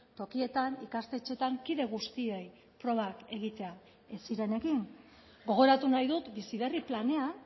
tokietan ikastetxeetan kide guztiei probak egitea ez ziren egin gogoratu nahi dut bizi berri planean